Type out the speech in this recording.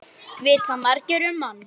Vita margir um hann?